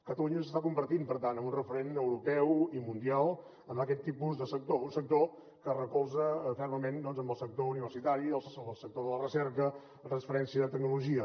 catalunya s’està convertint per tant en un referent europeu i mundial en aquest tipus de sector un sector que es recolza fermament en el sector universitari el sector de la recerca la transferència de tecnologia